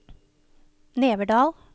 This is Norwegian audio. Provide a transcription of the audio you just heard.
Neverdal